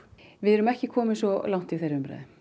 við erum ekki komin svo langt í þeirri umræðu